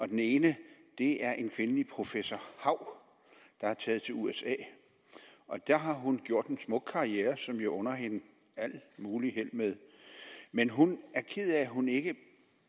den ene er en kvindelig professor hau der er taget til usa og der har hun gjort en smuk karriere som jeg under hende alt muligt held med men hun er ked af at hun ikke